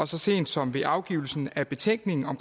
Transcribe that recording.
så sent som ved afgivelsen af betænkningen